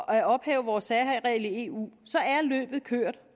at ophæve vores særregel i eu så er løbet kørt